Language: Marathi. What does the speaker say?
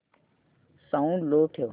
साऊंड लो ठेव